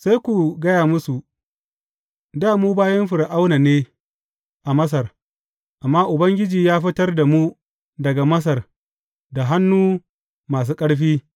Sai ku gaya musu, Dā mu bayin Fir’auna ne a Masar, amma Ubangiji ya fitar da mu daga Masar da hannu masu ƙarfi.